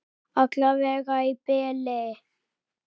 Alla vega í bili.